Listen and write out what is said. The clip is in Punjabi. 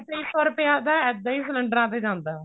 ਤੇਈ ਸੋ ਰੁਪਇਆ ਤਾਂ ਏਵੀ ਸਿਲੰਡਰਾਂ ਤੇ ਜਾਂਦਾ